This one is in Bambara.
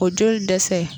O joli dɛsɛ